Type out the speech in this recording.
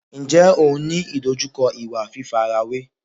Ǹjẹ́ ò ń ní ìdojúkọ ìwà fífarawé?